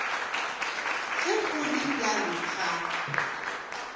ge go le bjalo ga